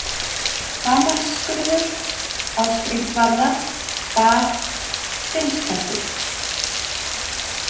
Hamarsskurður, Ásgrímsvarða, Bað, Finnstættur